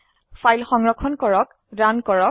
file সংৰক্ষণ কৰক run কৰক